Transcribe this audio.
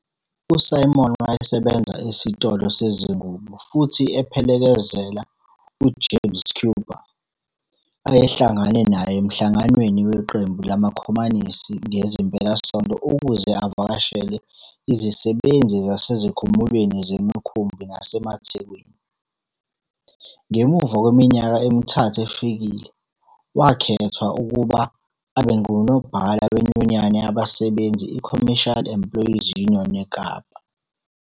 U-Simon wayesebenza esitolo sezingubo futhi ephelekezela u-James Schuba ayehlangana naye emhlanganweni weqembu lamakhomanisi ngezimpelasonto ukuze avakashele izisebenzi zasezikhumulweni zemikhumbi nasemathekwini. Ngemuva kweminyaka emithathu efikile, wakhethwa ukuba abe nguNobhala Wenyunyana Yabasebenzi iCommercial Employees Union eKapa.